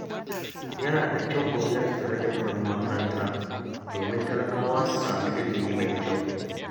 Yana da kyau gwamnati ta rage kuɗin makaranta domin talakawa su samu ilimi mai kyau